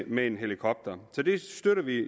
med en helikopter så det støtter vi